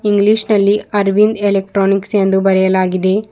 English ನಲ್ಲಿ Aravind electronics ಎಂದು ಬರೆಯಲಾಗಿದೆ.